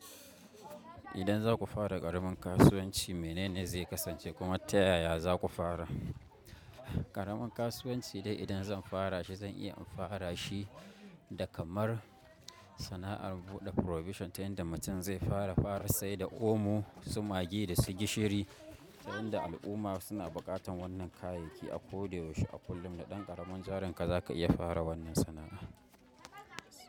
Idan za ku fara ƙaramin kasuwanci, menene zai kasance kuma ta yaya za ku fara? Ƙaramin kasuwanci dai idan zan fara shi zan iya in fara shi da kamar sana'ar buɗe provision tayin da mutum zai fara fara sai da omo, su maggi da gishiri. Ta yafda al'umma suna buƙatan wannan kayayyaki a ko da yaushe, a kullum, da ɗan ƙaramin jarin ka za ka iya fara wannan sana'a.